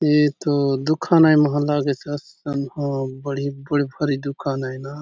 एथो दुकान आय मा लागेसे असन हो बढ़िया बड़े बाडी़ दुकान आय ना।